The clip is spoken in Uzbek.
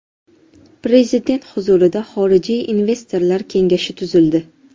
Prezident huzurida xorijiy investorlar kengashi tuzildi.